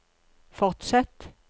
fortsett